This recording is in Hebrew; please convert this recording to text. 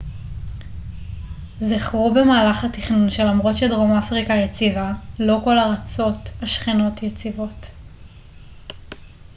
זכרו במהלך התכנון שלמרות שדרום אפריקה יציבה לא כל ארצות השכנות יציבות